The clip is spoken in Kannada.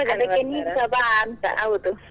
ಬಾ ಅಂತ ಹೌದು.